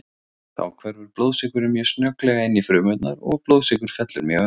Þá hverfur blóðsykurinn mjög snögglega inn í frumurnar og blóðsykur fellur mjög ört.